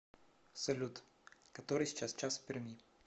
салют который сейчас час в перми